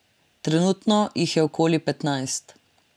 Trenutno jih je okoli petnajst.